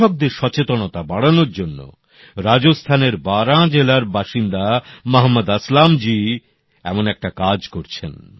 কৃষকদের সচেতনতা বাড়ানোর জন্য রাজস্থানের বারাঁ জেলার বাসিন্দা মহম্মদ আসলাম জী এমন একটা কাজ করছেন